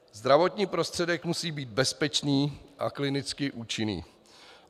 Zdravotní prostředek musí být bezpečný a klinicky účinný.